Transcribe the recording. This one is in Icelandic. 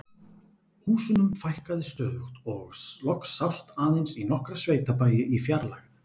Húsunum fækkaði stöðugt og loks sást aðeins í nokkra sveitabæi í fjarlægð.